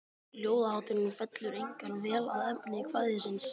Ljóðahátturinn fellur einkar vel að efni kvæðisins.